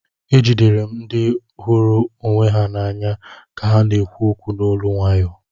Ejidere m ndị hụrụ onwe ha n'anya ka ha na-ekwu okwu n'olu nwayo